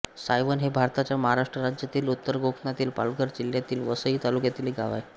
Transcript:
सायवन हे भारताच्या महाराष्ट्र राज्यातील उत्तर कोकणातील पालघर जिल्ह्यातील वसई तालुक्यातील एक गाव आहे